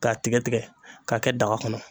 K'a tigɛ tigɛ k'a kɛ daga kɔnɔ.